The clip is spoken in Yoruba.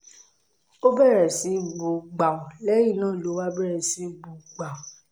ó bẹ̀rẹ̀ sí í bú gbàù lẹ́yìn náà ló wá bẹ̀rẹ̀ sí í bú gbàù